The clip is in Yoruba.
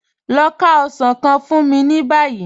Lọ fá osàn kàn fún mí ní báyì.